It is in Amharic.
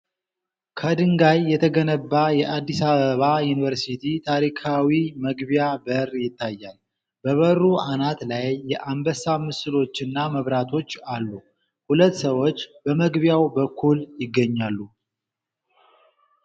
ከድንጋይ የተገነባው የአዲስ አበባ ዩኒቨርሲቲ ታሪካዊ መግቢያ በር ይታያል። በበሩ አናት ላይ የአንበሳ ምስሎችና መብራቶች አሉ። ሁለት ሰዎች በመግቢያው በኩል ይገኛሉ።